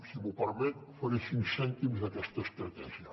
si m’ho permet faré cinc cèntims d’aquesta estratègia